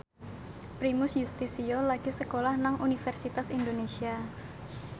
Primus Yustisio lagi sekolah nang Universitas Indonesia